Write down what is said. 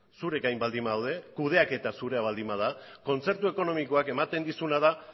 zure gain baldin badaude kudeaketa zurea baldin bada kontzertu ekonomikoak ematen dizuna da